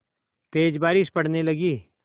तेज़ बारिश पड़ने लगी